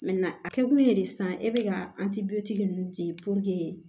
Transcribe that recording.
a kɛkun ye de sisan e bɛ ka ninnu di